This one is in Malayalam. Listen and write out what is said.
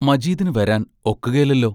മജീദിനു വരാൻ ഒക്കുകേലല്ലോ?